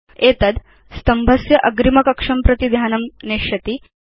एतद् स्तम्भस्य अग्रिम कक्षं प्रति ध्यानं नेष्यति